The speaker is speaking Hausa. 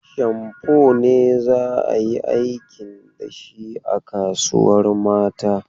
Shamfo ne za a yi aikin da shi a kasuwar mata.